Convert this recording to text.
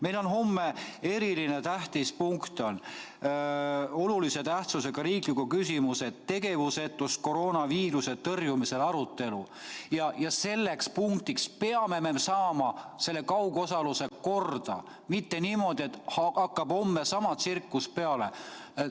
Meil on homme eriliselt tähtis punkt, olulise tähtsusega riikliku küsimuse "Tegevusetus koroonaviiruse tõrjumisel" arutelu ja selleks punktiks peame me saama selle kaugosaluse korda, mitte niimoodi, et homme hakkab sama tsirkus jälle peale.